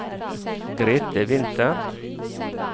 Grethe Winther